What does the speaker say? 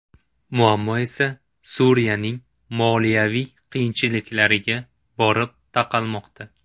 Muammo esa Suriyaning moliyaviy qiyinchiliklariga borib taqalmoqda.